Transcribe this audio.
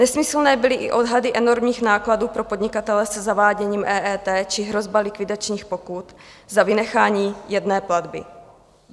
Nesmyslné byly i odhady enormních nákladů pro podnikatele se zaváděním EET či hrozba likvidačních pokut za vynechání jedné platby.